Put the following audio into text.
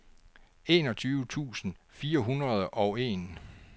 enogtyve tusind fire hundrede og en